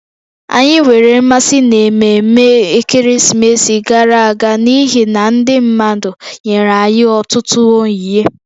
Anyị nwere mmasị n'ememme ekeresimesi gara aga n'ihi na ndị mmadụ nyere anyị ọtụtụ onyinye